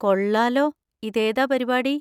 കൊള്ളാലോ! ഇതേതാ പരിപാടി?